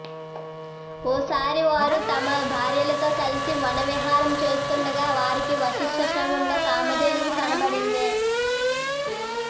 ఓసారి వారు తమ భార్యలతో కలిసి వనవిహారం చేస్తుండగా వారికి వశిష్టాశ్రమంలో కామధేనువు కనబడింది